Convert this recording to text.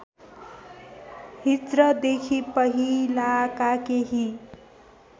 हिज्रदेखि पहिलाका केही